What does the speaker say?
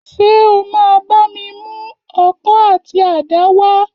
Ṣé o máa bá mi mú ọkọ̀ àti àdá wá?